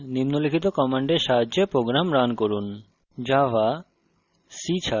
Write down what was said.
সুতরাং সফল কম্পাইলেশনের পর নিম্নলিখিত command সাহায্যে program রান করুন